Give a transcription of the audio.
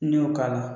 N'i y'o k'a la